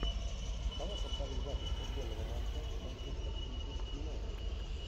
давай повторим запись футбольного матча манчестер сити с юнайтед